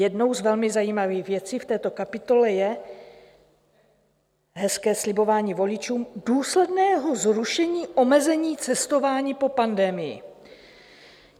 Jednou z velmi zajímavých věcí v této kapitole je hezké slibování voličům důsledného zrušení omezení cestování po pandemii.